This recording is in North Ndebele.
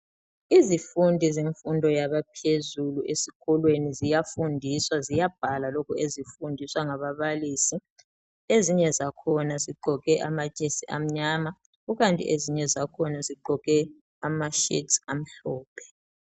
Izifundi zemfundo yabaphezulu esikolweni ziyafundiswa ziyabhala lokhu ezikufundiswa ngababalisi, ezinye zakhona zigqoke amajesi amnyama kukanti ezinye zakhona zigqoke amashetsi amhlophe.